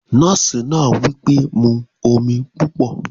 Drink plenty of water! the nurse said